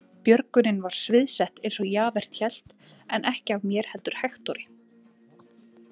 Björgunin var sviðsett eins og Javert hélt, en ekki af mér heldur Hektori.